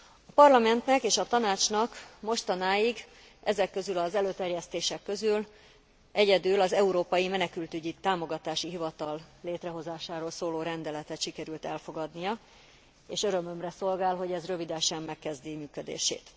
A Parlamentnek és a Tanácsnak mostanáig ezek közül az előterjesztések közül egyedül az Európai Menekültügyi Támogatási Hivatal létrehozásáról szóló rendeletet sikerült elfogadnia, és örömömre szolgál, hogy ez rövidesen megkezdi működését.